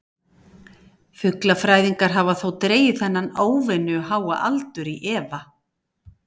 Fuglafræðingar hafa þó dregið þennan óvenju háa aldur í efa.